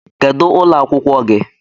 Kedu ụlọ akwụkwọ gị?